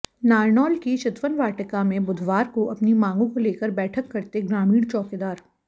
नारनौल की चितवन वाटिका में बुधवार को अपनी मांगों को लेकर बैठक करते ग्रामीण चौकीदार